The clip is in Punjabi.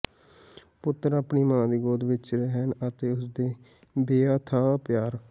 ਪੁੱਤਰ ਆਪਣੀ ਮਾਂ ਦੀ ਗੋਦ ਵਿਚ ਰਹਿਣ ਅਤੇ ਉਸ ਦੇ ਬੇਅਥਾਹ ਪਿਆਰ